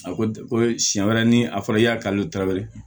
A ko ko siɲɛ wɛrɛ ni a fɔra i y'a kanu tra wɛrɛ ye